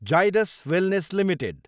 Zydus wellness Ltd